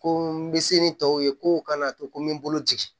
Ko n bɛ se ni tɔw ye kow kana to ko n bɛ n bolo jigin